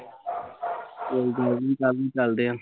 ਕੋਈ ਗੱਲ ਨੀ ਕੱਲ ਨੂੰ ਚੱਲਦੇ ਆ